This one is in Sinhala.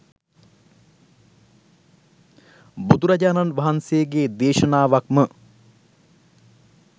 බුදුරජාණන් වහන්සේගේ දේශනාවක්ම